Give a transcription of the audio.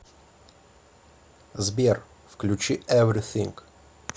сбер включи эврисинг